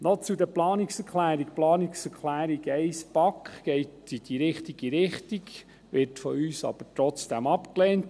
Noch zu den Planungserklärungen: Die Planungserklärung 1, BaK, geht in die richtige Richtung, wird von uns aber trotzdem abgelehnt.